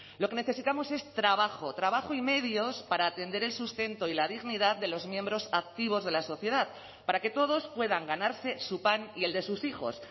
lo que necesitamos es trabajo trabajo y medios para atender el sustento y la dignidad de los miembros activos de la sociedad para que todos puedan ganarse su pan y el de sus hijos